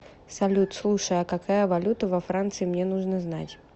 салют слушай а какая валюта во франции мне нужно знать